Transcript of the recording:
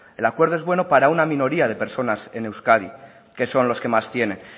el acuerdo es bueno para una minoría de personas en euskadi que son los que más tienen